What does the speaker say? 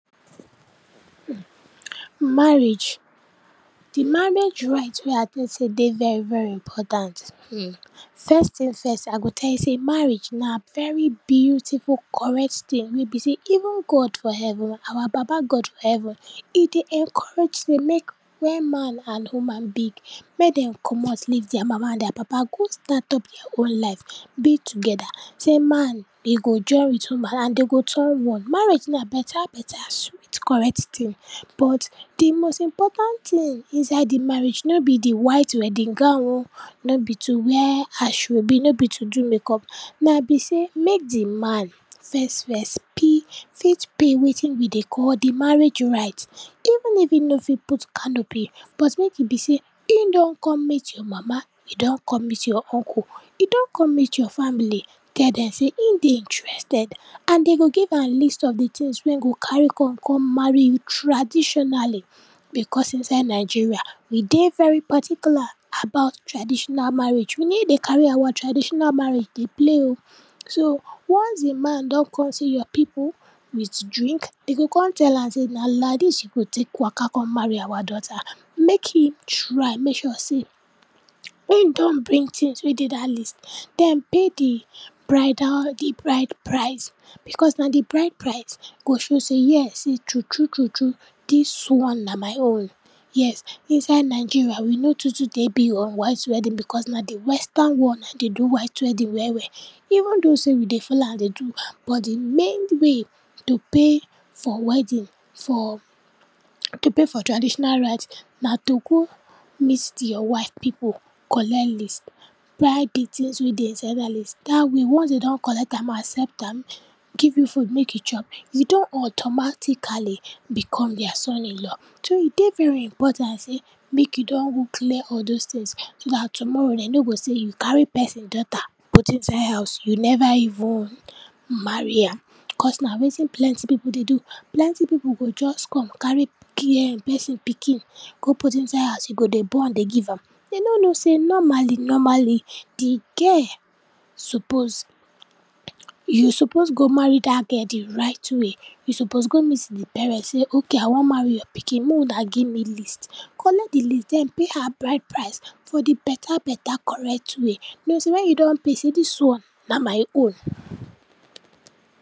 um Marriage, Di marriage rite wey I tell you sey e dey very very important. um, first tin first, I go tell you sey marriage, na very beautiful correct tin wey be sey even God for heaven, our baba God for heaven, e dey encourage sey mek when man and woman big, mek den comot leave dia mama and dia papa go start up dia own life, be togeda. Sey man den go join wit woman and den go turn one. Marriage na beta beta sweet correct tin, but di most important tin inside di marriage no be di white wedding gown um, no be to wear ashoebi, no be to do makeup, na be sey mek di man first first pee fit pay wetin we dey call di marriage rite, even if e no fit put canopy but mek e be sey e don kon meet your mama, e don kon meet your uncle, e don kon meet your family, tell dem sey e dey interested and den go give am list of di tins wey e go carry come kon marry you traditionally, because inside Nigeria we dey very particular about traditional marriage, we no dey carry our traditional marriage dey play um. So, once di man don kon see your pipu wit drink, den go kon tell am sey na laidis you go tek waka kon marry our daughter. Mek im try make sure sey um e don bring tins wey dey dat list, den pay di bridal, di bride price, because na di bride price go show sey yes e true true true true dis one na my own, yes. Inside Nigeria we no too too dey big on white wedding because na di western world nai dey do white wedding well well, even though sey we dey follow am dey do but di main way to pay for wedding, for um, to pay for traditional rite na to go meet di your wife pipu, collect list, buy di tins wey dey inside dat list, dat way once den don collect am, accept am, give you food mek you chop, you don automatically become dia son in-law. So, e dey very important sey mek you don go clear all dose tins so dat tomorrow den no go sey you carry person daughter put inside house, you neva even marry am, cos na wetin plenty pipu dey do. Plenty pipu go just come, carry um pikin, um person pikin go put inside house, e go dey born dey give am. Den no know sey normally normally, di girl suppose um, you suppose go marry dat girl di right way, you suppose go meet di parent sey ok, I wan marry your pikin, mey una give me list. Collect di list, den pay her bride price for di beta beta correct way, know sey wen you don pay, sey dis one na my own.